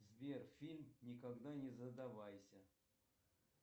сбер фильм никогда не задавайся